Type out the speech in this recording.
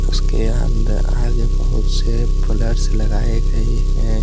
उसके आगे बहुत से फ्लेट्स लगाए गए हैं।